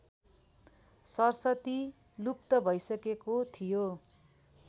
सरस्वती लुप्त भैसको थियो